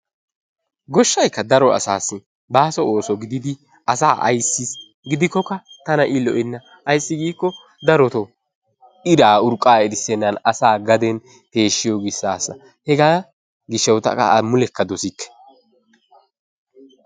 Goshaykka daro asassi basso osso gididi asa aysis gidikokaa tana i lo'ena ayssi giko darotto irraa urqaa erisenna asa gaden peshiyo gishasa hega gishawu tan qa a mulekaa dossikke.